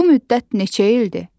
Bu müddət neçə ildir?